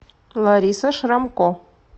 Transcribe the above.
лариса шрамко